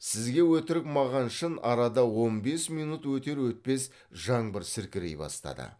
сізге өтірік маған шын арада он бес минут өтер өтпес жаңбыр сіркірей бастады